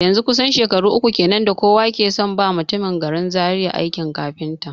Yanzun kusan shekaru uku kenan da kowa ke son ba mutumin garin Zaria aikin kafinta